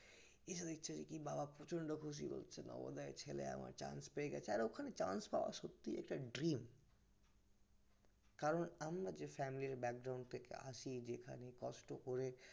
এসে দেখছে কি বাবা প্রচন্ড খুশি হয়ে গেছে আমার chance পেয়ে গেছে আর ওখানে chance পাওয়া সত্যিই একটা dream কারণ আমরা যে family background থেকে আসি যেখানে কষ্ট করে